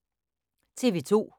TV 2